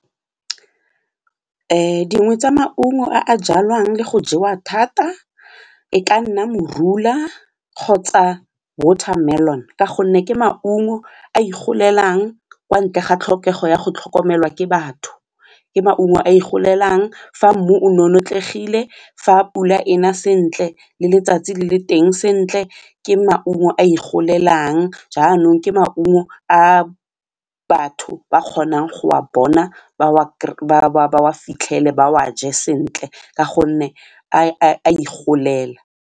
Dingwe tsa maungo a jalwang le go jewa thata e ka nna morula kgotsa watermelon ka gonne ke maungo a igolelang kwa ntle ga tlhokego ya go tlhokomelwa ke batho, ke maungo a igolelang fa mmu o nonotlegile, fa pula ena sentle le letsatsi le le teng sentle. Ke maungo a igolelang jaanong ke maungo a batho ba kgonang go wa bona ba wa fitlhele ba wa je sentle ka gonne a igolela.